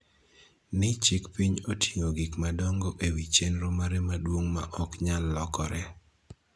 ni chik piny oting�o gik madongo e wi chenro mare maduong� ma ok nyal lokore.